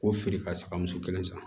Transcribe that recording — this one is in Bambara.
K'o feere ka saga muso kelen san